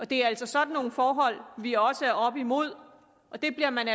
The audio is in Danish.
det er altså sådan nogle forhold vi også er oppe imod og det bliver man